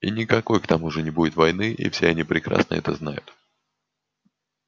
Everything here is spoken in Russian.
и никакой к тому же не будет войны и все они прекрасно это знают